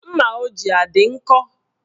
Mma o ji adị nkọ?